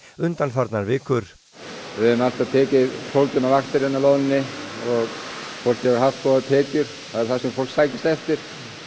undanfarnar vikur við höfum alltaf tekið tólf tíma vaktir í loðnunni og fólk hefur haft góðar tekjur það er það sem fólk sækist eftir